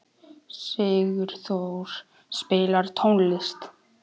Sigurþór, spilaðu tónlist.